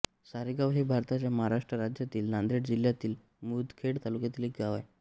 सारेगाव हे भारताच्या महाराष्ट्र राज्यातील नांदेड जिल्ह्यातील मुदखेड तालुक्यातील एक गाव आहे